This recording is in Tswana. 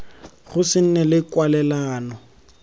go se nne le kwalelano